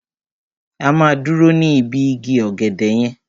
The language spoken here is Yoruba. A máa dúró ní ibi igi ọ̀gẹ̀dẹ̀ yẹn.